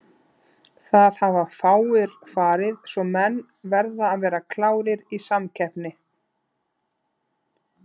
Það hafa fáir farið svo menn verða að vera klárir í samkeppni.